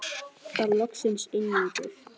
Þá loksins linnir.